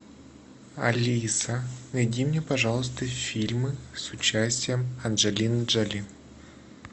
алиса найди мне пожалуйста фильмы с участием анджелины джоли